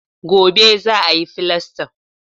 Gobe za a yi filastan